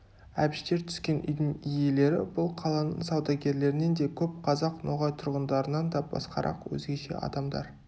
әбіштер түскен үйдің иелері бұл қаланың саудагерлерінен де көп қазақ ноғай тұрғындарынан да басқарақ өзгеше адамдар